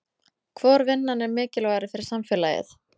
Hvor vinnan er mikilvægari fyrir samfélagið?